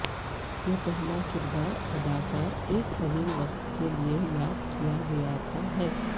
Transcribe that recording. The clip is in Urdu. یہ پہلا کردار اداکار ایک طویل وقت کے لئے یاد کیا گیا تھا ہے